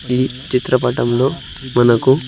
ఈ చిత్రపటంలో మనకు--